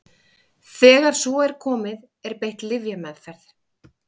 þegar svo er komið er beitt lyfjameðferð